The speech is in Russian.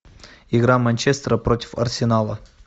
игра манчестера против арсенала